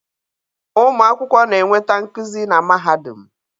Ụmụ akwụkwọ na-enweta nkuzi na mahadum